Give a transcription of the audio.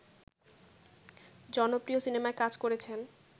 জনপ্রিয় সিনেমায় কাজ করেছেন